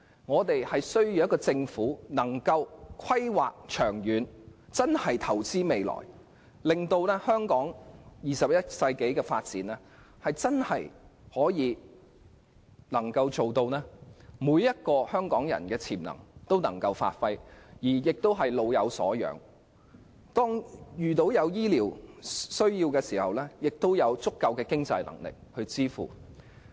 我們需要一個懂得作出長遠規劃、真正投資未來的政府，令香港21世紀的發展能夠給予每位香港人發揮潛能的機會，做到"老有所養"，有醫療需要的市民也有足夠的經濟支援。